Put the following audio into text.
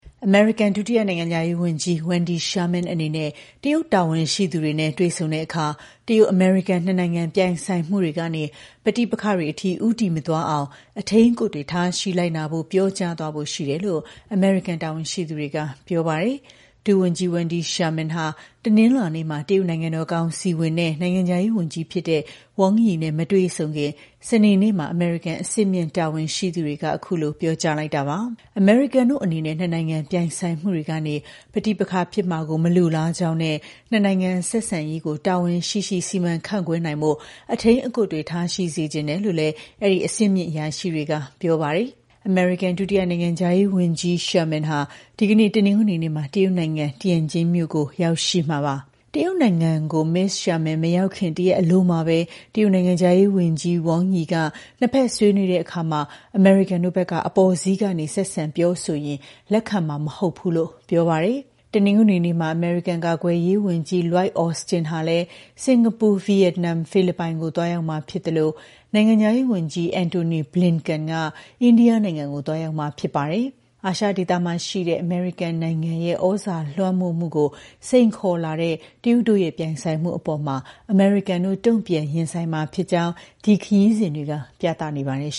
အမေရိကန် ဒုတိယနိုင်ငံခြားရေးဝန်ကြီး Wendy Sherman အနေနဲ့ တရုတ်တာဝန်ရှိသူတွေနဲ့ တွေ့ဆုံတဲ့အခါ တရုတ်-အမေရိကန် နှစ်နိုင်ငံ ပြိုင်ဆိုင်မှုတွေကနေ ပဋိပက္ခတွေအထိ ဦးတည်မသွားအောင် အထိန်းအကွပ်တွေ ထားရှိလိုက်နာဖို့ ပြောကြားသွားဖို့ ရှိတယ်လို့ အမေရိကန် တာဝန်ရှိသူတွေက ပြောပါတယ်။ ဒုဝန်ကြီး Wendy Sherman က တနင်္လာနေ့မှာ တရုတ် နိုင်ငံတော်ကောင်စီဝင် နဲ့ နိုင်ငံခြားရေးဝန်ကြီးဖြစ်တဲ့ Wang Yi နဲ့ မတွေ့ဆုံခင် စနေနေ့မှာ အမေရိကန် အဆင့်မြင့် တာဝန်ရှိသူတွေက အခုလို ပြောကြားလိုက်တာပါ။ အမေရိကန်တို့အနေနဲ့ နှစ်နိုင်ငံ ပြိုင်ဆိုင်မှုတွေကနေ ပဋိပက္ခဖြစ်မှာကို မလိုလားကြောင်းနဲ့ နှစ်နိုင်ငံဆက်ဆံရေးကို တာဝန်ရှိရှိ စီမံခန့်ခွဲနိုင်ဖို့ အထိန်းအကွပ်တွေ ထားရှိစေချင်တယ်လို့လည်း အဲဒီ အဆင့်မြင့်အရာရှိတွေက ပြောပါတယ်။ အမေရိကန် ဒုတိယ နိုင်ငံခြားရေးဝန်ကြီး Sherman ဟာ ဒီကနေ့ တနင်္ဂနွေနေ့မှာ တရုတ်နိုင်ငံ၊ Tianjin မြို့ကို ရောက်ရှိမှာပါ။ တရုတ်နိုင်ငံကို မစ္စ Sherman မရောက်ခင်က တရက်အလိုမှာပဲ တရုတ်နိုင်ငံခြားရေး ဝန်ကြီး Wang Yi က နှစ်ဖက်ဆွေးနွေးတဲ့အခါ အမေရိကန်တို့ဘက်က အပေါ်စီးက ဆက်ဆံပြောဆိုရင် လက်ခံမှာမဟုတ်ဘူးလို့ ပြောပါတယ်။ တနင်္ဂနွေနေ့မှာပဲ အမေရိကန် ကာကွယ်ရေးဝန်ကြီး Lloyd Austin ကလည်း စင်္ကာပူ၊ ဗီယက်နမ်၊ ဖိလစ်ပိုင်ကို သွားရောက်မှာဖြစ်သလို နိုင်ငံခြားရေးဝန်ကြီး Antony Blinken ကလည်း အိန္ဒိယနိုင်ငံကို သွားရောက်မှာ ဖြစ်ပါတယ်။ အာရှဒေသမှာရှိတဲ့ အမေရိကန်နိုင်ငံရဲ့ ဩဇာလွှမ်းမိုးမှုကို စိန်ခေါ်လာတဲ့ တရုတ်တို့ရဲ့ ပြိုင်ဆိုင်မှုအပေါ် အမေရိကန်တို့ တ့ုံပြန်ရင်ဆိုင်မှာဖြစ်ကြောင်း ဒီခရီးစဉ်တွေက ပြသနေပါတယ်